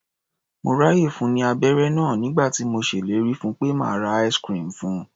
Mo ráàyè fun ní abẹ́ré náà nígbà tí mo ṣellérí fun pé màá ra ice-cream fun.